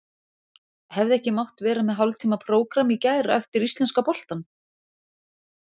Hefði ekki mátt vera með hálftíma prógramm í gær eftir íslenska boltann?